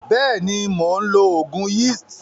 Beeni, Mon lo ogun yeast.